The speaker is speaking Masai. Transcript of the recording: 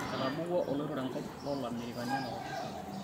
etabawua oloitore enkop loo ilamerikani enakop